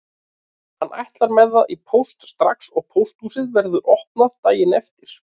Hann ætlar með það í póst strax og pósthúsið verður opnað daginn eftir.